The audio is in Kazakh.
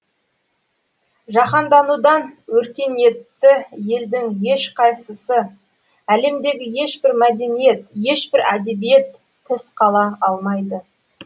жаһанданудан өркениетті елдің ешқайсысы әлемдегі ешбір мәдениет ешбір әдебиет тыс қала алмайды